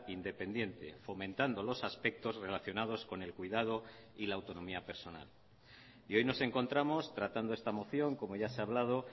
independiente fomentando los aspectos relacionados con el cuidado y la autonomía personal y hoy nos encontramos tratando esta moción como ya se ha hablado